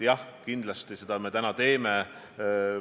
Jah, kindlasti me seda teeme.